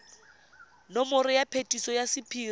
nomoro ya phetiso ya sephiri